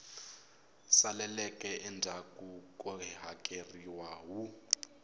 saleleke endzhaku ko hakeleriwa wu